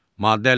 Maddə 57.